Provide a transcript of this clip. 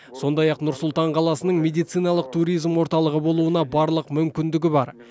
сондай ақ нұр сұлтан қаласының медициналық туризм орталығы болуына барлық мүмкіндігі бар